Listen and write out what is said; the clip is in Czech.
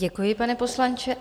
Děkuji, pane poslanče.